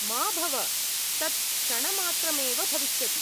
मा भव, तत् क्षणमात्रमेव भविष्यति।